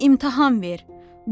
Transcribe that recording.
Tarixə imtahan ver.